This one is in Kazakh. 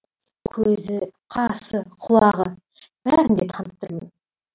көзі қасы құлағы бәрін де танып тұрмын